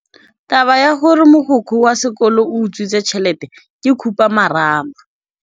Taba ya gore mogokgo wa sekolo o utswitse tšhelete ke khupamarama.